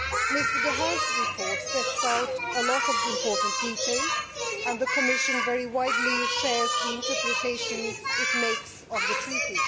Mr Dehaene's report sets out a lot of important detail, and the Commission very widely shares the interpretations it makes of the Treaty.